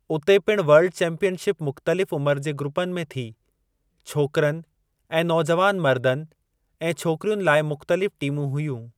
उते पिणु world championship मुख़्तलिफ़ उमिरि जे ग्रूपनि में थी। छोकिरनि ऐं नौजवान मर्दनि ऐं छोकरियुनि लाइ मुख़्तलिफ़ टीमूं हुयूं।